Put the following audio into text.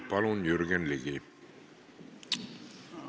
Palun, Jürgen Ligi!